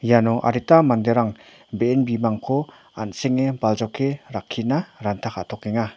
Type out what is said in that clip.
iano adita manderang be·en bimangko an·senge baljoke rakkina ranta ka·tokenga.